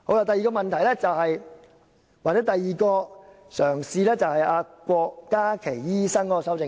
第二，又或是第二個嘗試，就是郭家麒醫生提出的修正案。